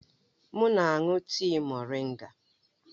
M na-aṅụ tii moringa.